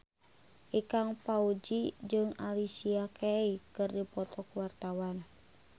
Ikang Fawzi jeung Alicia Keys keur dipoto ku wartawan